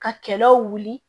Ka kɛlɛw wuli